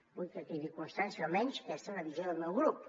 vull que quedi constància almenys que aquesta és la visió del meu grup